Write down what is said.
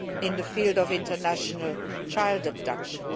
in the field of international child abduction.